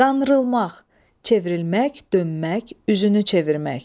Qandırılmaq, çevrilmək, dönmək, üzünü çevirmək.